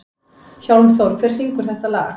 Hjálmþór, hver syngur þetta lag?